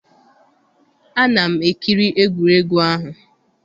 Ana m ekiri egwuregwu ahụ